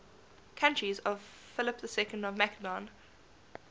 courtiers of philip ii of macedon